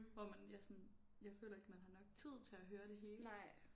Hvor man ja sådan jeg føler ikke man har nok tid til at høre det hele